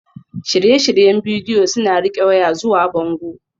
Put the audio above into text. Shirye-shiryen bidiyo suna riƙe waya zuwa bango